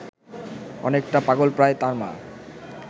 অনেকটা পাগলপ্রায় তার মা